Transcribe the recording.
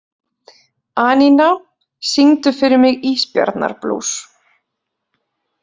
Anína, syngdu fyrir mig „Ísbjarnarblús“.